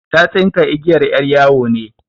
Ta tsinka igiyar 'yar yawo ne.